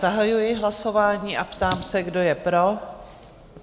Zahajuji hlasování a ptám se, kdo je pro?